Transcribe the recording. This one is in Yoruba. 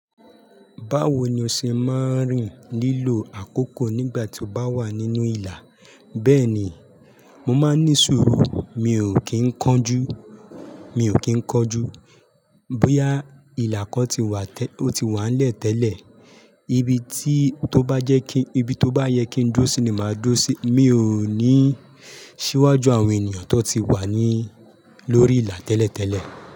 Báwo ni o ṣe máa ń rìn lílo àkókò nígbà tí o bá wà nínú ìlà? Bẹ́ẹ̀ni, mo máa ń ní sùúrù, mi ò kí ń kánjú, mi ò kí ń kánjú. Bóyá ìlà kan ti wà, ó ti wà nlẹ̀ tẹ́lẹ̀, ibi tí tó bá jẹ́ kí, ibi tó bá yẹ kí n dúró sí ni màá dúró sí. Mi ò ní ṣíwájú àwọn ènìyàn tó ti wà ní lórí ìlà tẹ́lẹ̀ tẹ́lẹ̀.